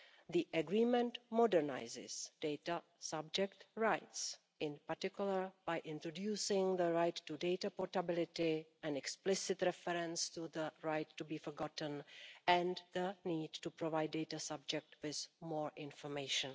The agreement modernises data subject rights, in particular by introducing the right to data portability, an explicit reference to the right to be forgotten, and the need to provide the data subject with more information.